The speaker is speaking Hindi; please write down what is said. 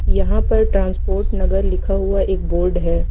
यहां पर ट्रांसपोर्ट नगर लिखा हुआ एक बोर्ड है।